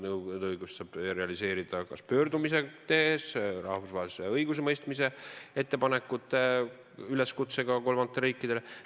Nõudeõigust saab realiseerida kas pöördumist tehes, rahvusvahelise õigusemõistmise ettepanekute üleskutsega kolmandatele riikidele.